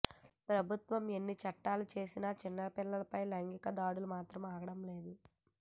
ప్రభుత్వాలు ఎన్ని చట్టాలు చేసిన చిన్న పిల్లలపై లైంగిక దాడులు మాత్రం ఆగడం లేదు